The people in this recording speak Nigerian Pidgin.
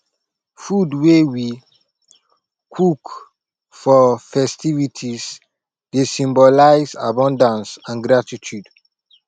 food wey we cook for festivities dey symbolize abundance and gratitude